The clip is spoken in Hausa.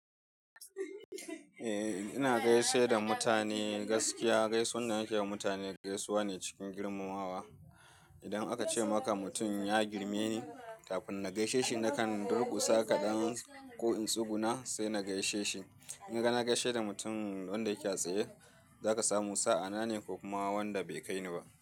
Eh, ina gaishe da mutane gaskiya. Gaisuwan da nake yi wa mutane gaisuwa ne cikin girmamawa. Idan aka ce maka mutum ya girme ni, kafin na gaishe shi na kan durƙusa kaɗan ko in tsuguna sai na gaishe shi. In ka na gaishe da mutum wanda yake a tsaye, zaka samu sa'a nane ko kuma wanda bai kai ni ba.